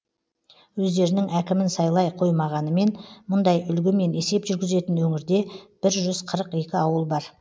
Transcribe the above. өздерінің әкімін сайлай қоймағанымен мұндай үлгімен есеп жүргізетін өңірде бір жүз қырық екі ауыл бар